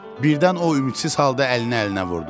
Birdən o ümidsiz halda əlini əlinə vurdu.